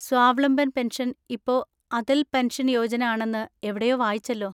Swavalamban pension ഇപ്പോ Atal pension Yojana ആണെന്ന് എവിടയോ വായിച്ചല്ലോ?